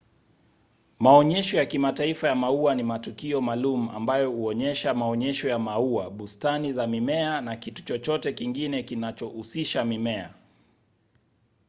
maonyesho ya kimataifa ya maua ni matukio maalum ambayo huonyesha maonyesho ya maua bustani za mimea na kitu chochote kingine kinachohusisha mimea